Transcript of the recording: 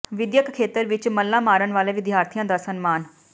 ਵਿੱਦਿਅਕ ਖੇਤਰ ਵਿੱਚ ਮੱਲਾਂ ਮਾਰਨ ਵਾਲੇ ਵਿਦਿਆਰਥੀਆਂ ਦਾ ਸਨਮਾਨ